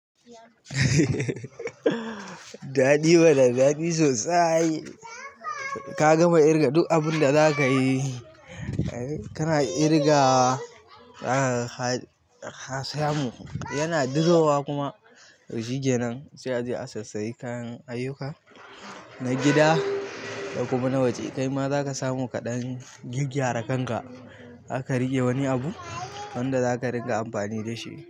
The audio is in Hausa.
Daɗi mana daɗi sosai. Ka gama ƙirga duk abunda zaka yi. Kana ƙirga ka samu, yana duro wa kuma to shikenan sai a je a sassayi kayan ayuka na gida da kuma na waje. Kai ma zaka samu ka ɗan gyaggyara kan ka zaka riƙe wani abu wanda zaka riƙa amfani dashi.